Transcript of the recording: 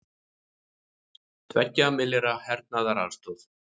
Tveggja milljarða hernaðaraðstoð